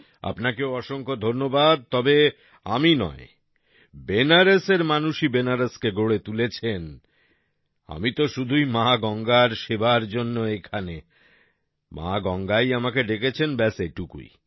আপনাকেও অসংখ্য ধন্যবাদ তবে আমি নয় বেনারসের মানুষই বেনারসকে গড়ে তুলেছেন আমি তো শুধুই মা গঙ্গার সেবার জন্যে এখানে মা গঙ্গাই আমাকে ডেকেছেন ব্যাস এটুকুই